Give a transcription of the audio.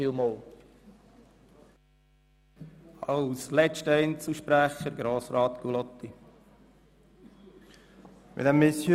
Als letzter Einzelsprecher hat Grossrat Gullotti das Wort.